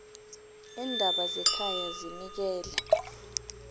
iindaba zekhaya zinikele